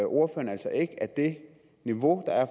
ordføreren altså ikke at det niveau der er